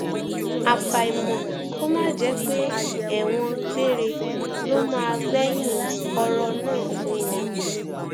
àfàìmọ kó má jẹ pé ẹwọn gbére ló máa gbẹyìn ọrọ náà fún wọn